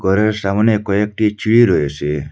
ঘরের সামনে কয়েকটি ছিড়ি রয়েছে।